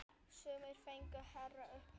Sumir fengu hærri upphæð.